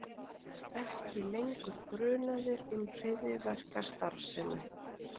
Ekki lengur grunaðir um hryðjuverkastarfsemi